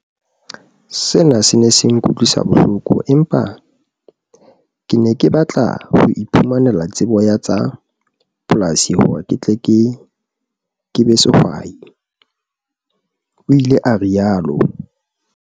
"Sena se ne se nkutlwisa bohloko empa ke ne ke batla ho iphumanela tsebo ya tsa polasi hore ke tle ke be sehwai," o ile a rialo.